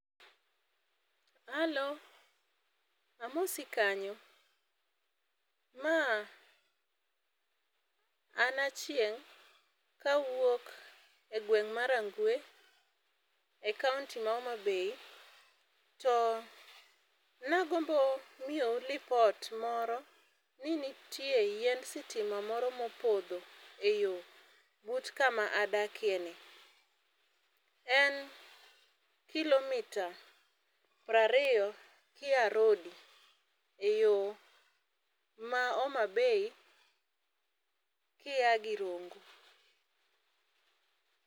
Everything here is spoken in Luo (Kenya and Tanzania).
Achieng' : Hello, amosi kanyo, ma an Achieng' kawuok e gweng' ma Rangwe, e kaonti ma Homabay to nagombo miyou lipot moro ni nitie yiend sitima moro mopodho e yo but kuma adakeni. En kilomita prariyo kiya Rodi e yo ma Homabay kiya gi Rongo.